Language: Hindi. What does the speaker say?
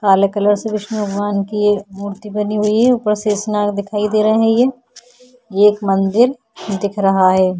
काले कलर से विष्णु भगवान की ये मूर्ति बनी हुई है ऊपर शेषनाग दिखाई दे रहा है ये एक मंदिर दिख रहा है।